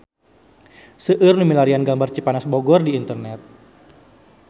Seueur nu milarian gambar Cipanas Bogor di internet